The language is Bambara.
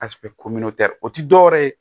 o tɛ dɔwɛrɛ ye